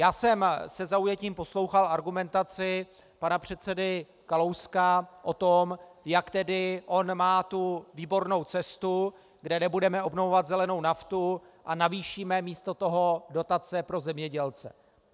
Já jsem se zaujetím poslouchal argumentaci pana předsedy Kalouska o tom, jak tedy on má tu výbornou cestu, kde nebudeme obnovovat zelenou naftu a navýšíme místo toho dotace pro zemědělce.